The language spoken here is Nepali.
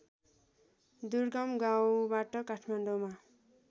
दुर्गम गाउँबाट काठमाडौँमा